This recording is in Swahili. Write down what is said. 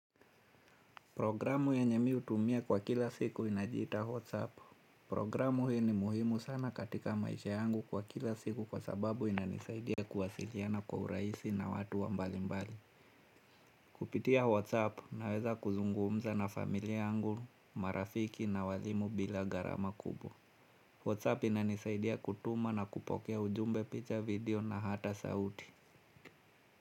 Programu yenye mi hutumia kwa kila siku inajita Whatsapp. Programu hii ni muhimu sana katika maisha yangu kwa kila siku kwa sababu inanisaidia kuwasiliana kwa urahisi na watu wa mbali mbali. Kupitia Whatsapp naweza kuzungumza na familia yangu, marafiki na waalimu bila gharama kubwa. Whatsapp inanisaidia kutuma na kupokea ujumbe picha video na hata sauti.